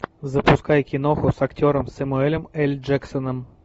запускай киноху с актером самуэлем эль джексоном